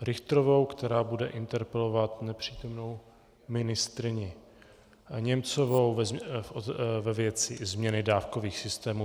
Richterovou, která bude interpelovat nepřítomnou ministryni Němcovou ve věci změny dávkových systémů.